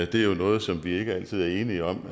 det er jo noget som vi ikke altid er enige om